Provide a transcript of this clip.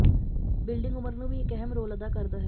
building ਉਮਰ ਨੂੰ ਵੀ ਇੱਕ ਅਹਿਮ ਰੋਲ ਅਦਾ ਕਰਦਾ ਹੈ